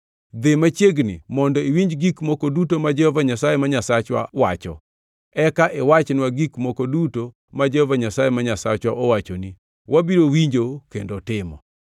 Dhi machiegni mondo iwinji gik moko duto ma Jehova Nyasaye ma Nyasachwa wacho. Eka iwachnwa gik moko duto ma Jehova Nyasaye ma Nyasachwa owachoni, wabiro winjo kendo timo.”